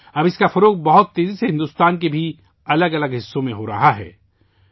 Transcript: اب یہ بھارت کے مختلف حصوں میں بھی بہت تیزی سے پھیل رہا ہے